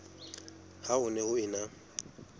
ha ho ne ho ena